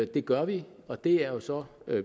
det gør vi og det er jo så